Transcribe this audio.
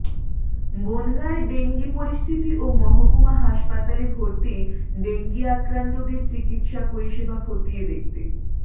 বনগাঁর dengue পরিস্থিতি ও মহকুমা হাসপাতালে ভর্তি ডেঙ্গি আক্রান্তদের চিকিৎসা পরিষেবা খতিয়ে দেখতে